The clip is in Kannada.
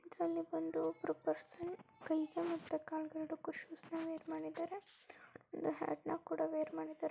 ಇದರಲ್ಲಿ ಬಂದು ಒಬ್ರು ಪರ್ಸನ್ ಕೈಗೆ ಮತ್ತೆ ಕಾಲಿಗೆ ಎರಡಕ್ಕೂ ಶೂಸ್ನ ವೇರ್ ಮಾಡಿದ್ದಾರೆ. ಒಂದು ಹ್ಯಾಟ್ ನ ಕೂಡ ವೇರ್ ಮಾಡಿದ್ದಾರೆ.